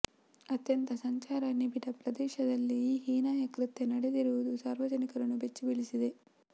ಅತ್ಯಂತ ಸಂಚಾರ ನಿಬಿಡ ಪ್ರದೇಶದಲ್ಲೇ ಈ ಹೀನಾಯ ಕೃತ್ಯ ನಡೆದಿರುವುದು ಸಾರ್ವಜನಿಕರನ್ನು ಬೆಚ್ಚಿಬೀಳಿಸಿದೆ